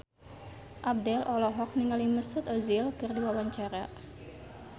Abdel olohok ningali Mesut Ozil keur diwawancara